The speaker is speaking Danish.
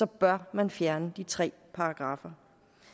bør man fjerne de tre paragraffer